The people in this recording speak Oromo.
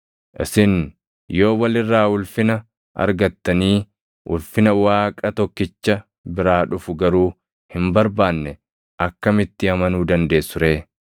Isin yoo wal irraa ulfina argattanii ulfina Waaqa tokkicha biraa dhufu garuu hin barbaanne akkamitti amanuu dandeessu ree?